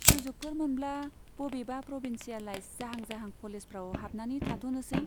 सुजुगफोर मोनब्ला बबेबा प्रभिन्सियेलाइज जाहां जाहां कलेजफ्राव हाबनानै थाथ'नोसै।